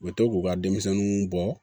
U bɛ to k'u ka denmisɛnninw bɔ